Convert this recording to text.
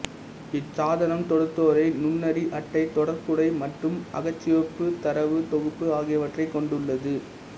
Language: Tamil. இச்சாதனம் தொடுதிரை நுண்ணறி அட்டை தொடர்க்குதை மற்றும் அகச்சிவப்புத் தரவுத் தொகுப்பு ஆகியவற்றைக் கொண்டுள்ளது